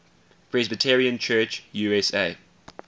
presbyterian church usa